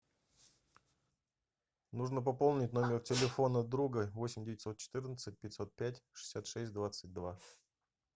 нужно пополнить номер телефона друга восемь девятьсот четырнадцать пятьсот пять шестьдесят шесть двадцать два